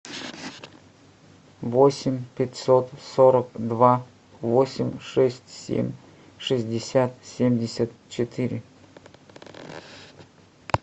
восемь пятьсот сорок два восемь шесть семь шестьдесят семьдесят четыре